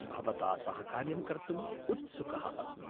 भवता सह कार्यं कर्तुम् उत्सुकः अस्मि।